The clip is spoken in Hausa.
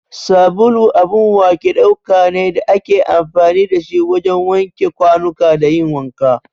Sabulu abun wake ɗauka ne da ake amfani da shi wajen wanke kwanuka da yin wanka.